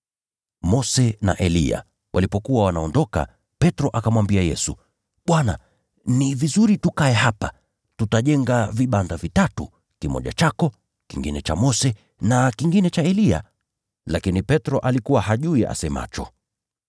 Mose na Eliya walipokuwa wanaondoka, Petro akamwambia Yesu, “Bwana, ni vizuri tukae hapa! Tutajenga vibanda vitatu: kimoja chako, kingine cha Mose na kingine cha Eliya.” Lakini Petro alikuwa hajui asemacho.